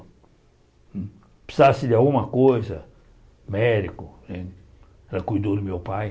Se precisasse de alguma coisa, médico né, ela cuidou do meu pai.